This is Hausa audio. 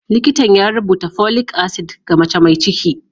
Likitan ya rubuta folic acid ga mace mai ciki.